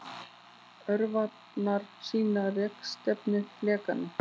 Örvarnar sýna rekstefnu flekanna.